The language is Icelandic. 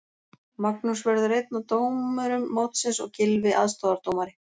Magnús verður einn af dómurum mótsins og Gylfi aðstoðardómari.